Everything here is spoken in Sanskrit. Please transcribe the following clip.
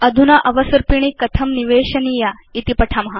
अधुना अवसर्पिणी कथं निवेशनीयेति पठाम